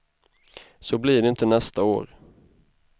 Så blir det inte nästa år.